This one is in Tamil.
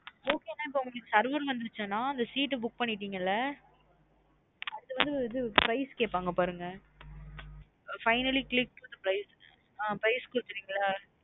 Okay நா உங்களுக்கு இப்போ serve னு வந்த்ருச்சா நா அந்த seat book உ பண்ணிடீங்களா அடுத்து வந்து இது price கேப்பங்க பாருங்க finally click the price ஆ price கொடுத்துடிங்களா?